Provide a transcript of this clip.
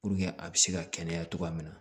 Puruke a bɛ se ka kɛnɛya cogoya min na